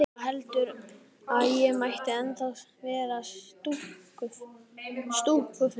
Mamma heldur að ég mæti ennþá á stúkufundi.